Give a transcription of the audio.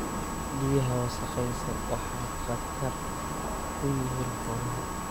Biyaha wasakhaysan waxay khatar u yihiin xoolaha.